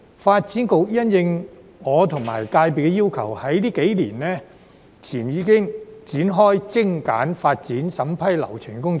發展局因應我和業界的要求，在數年前已展開精簡發展審批流程的工作。